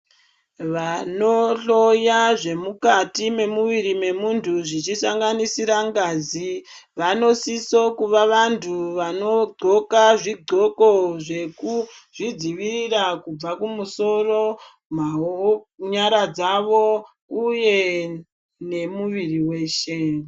Vanohloya zvemukati mwemwiri mwemuntu zviri mukati zvichisanganisira ngazi vanosisa kuva vantu vanqoka zvigoko zvekuzvidzirivirira kubva musoro nyaradzavo uye nemuviri wose .